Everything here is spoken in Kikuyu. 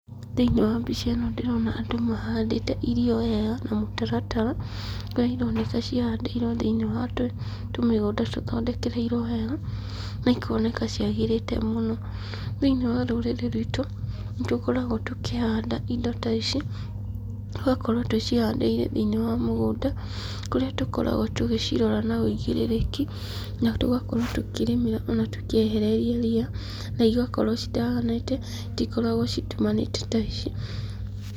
Thĩinĩ wa mbica ĩno ndĩrona andũ mahandĩte irio wega na mũtaratara, kũrĩa ironeka cihandĩirwo thĩinĩ wa tũmĩgũnda tũthondekereirwo wega, na ikoneka ciagĩrĩte mũno. Thĩinĩ wa rũrĩrĩ rwitũ, nĩ tũkoragwo tũkĩhanda indo ta ici, tũgakorwo tũcihandĩire thĩinĩ wa mũgũnda, kũrĩa tũkoragwo tũgĩcirora na ũigĩrĩrĩki, na tũgakorwo tukĩrĩmĩra ona tũkĩehereria ria, na igakorwo citaganĩte, citikoragwo citumanĩte ta ici.